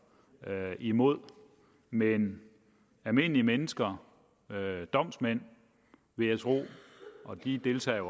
imod men almindelige mennesker domsmænd vil jeg tro og de deltager jo